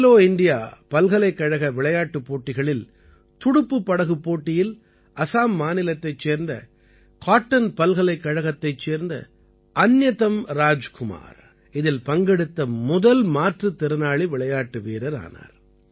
Khelo India பல்கலைக்கழக விளையாட்டுப் போட்டிகளில் துடுப்புப் படகுப் போட்டியில் அசாம் மாநிலத்தைச் சேர்ந்த காட்டன் பல்கலைக்கழகத்தைச் சேர்ந்த அந்யதம் ராஜ்குமார் இதில் பங்கெடுத்த முதல் மாற்றுத் திறனாளி விளையாட்டு வீரர் ஆனார்